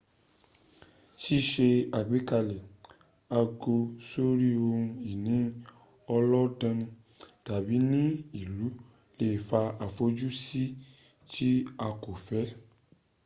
síse àgbékalẹ̀ àgọ́ sórí ohun ìní ọlọ́danni tàbí ní ìlú le fa àfojúsí tí a kò fẹ́